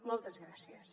moltes gràcies